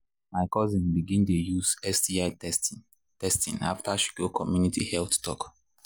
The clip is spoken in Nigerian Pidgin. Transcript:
my cousin begin dey use sti testing testing after she go community health talk.